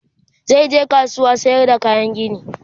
zai je kasuwar sayar da kayan gini